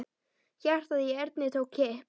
Hjartað í Erni tók kipp.